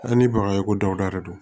An ni baga ye ko dawuda de don